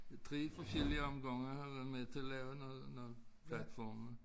I 3 forskellige omgange har jeg været med til at noget noget platforme